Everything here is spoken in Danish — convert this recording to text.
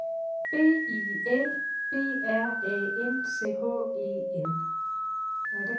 B I L B R A N C H E N